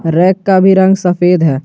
Rack का भी रंग सफेद है।